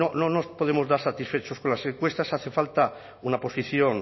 no nos podemos dar satisfechos con las encuestas hace falta una posición